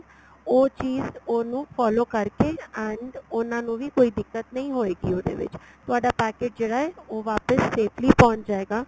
ਉਹ ਚੀਜ ਉਹਨੂੰ follow ਕਰਕੇ and ਉਹਨਾ ਨੂੰ ਵੀ ਕੋਈ ਦਿਕਤ ਨਹੀਂ ਹੋਈ ਗੀ ਉਹਦੇ ਵਿੱਚ ਤੁਹਾਡਾ packet ਜਿਹੜਾ ਏ ਉਹ ਵਾਪਿਸ safely ਪਹੁੰਚ ਜਾਏਗਾ